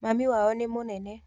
Mami wao ni mũnene.